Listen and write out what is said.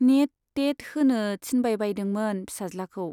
Net, TET होनो थिनबायबायदोंमोन फिसाज्लाखौ।